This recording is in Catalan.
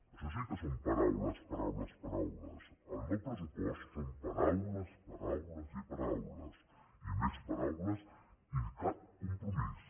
això sí que són paraules paraules paraules el no presssupost són paraules paraules paraules i més paraules i cap compromís